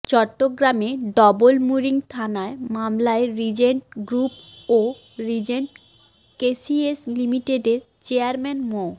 চট্টগ্রামের ডবলমুরিং থানার মামলায় রিজেন্ট গ্রুপ ও রিজেন্ট কেসিএস লিমিটেডের চেয়ারম্যান মো